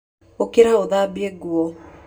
Ũkĩra ũthambie nguo.